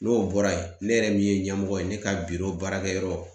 N'o bɔra yen, ne yɛrɛ min ye ɲɛmɔgɔ ye ne ka baarakɛ yɔrɔ